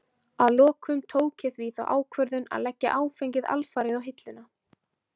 Að lokum tók ég því þá ákvörðun að leggja áfengið alfarið á hilluna.